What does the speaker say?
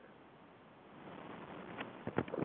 கண்டிப்பா கண்டிப்பா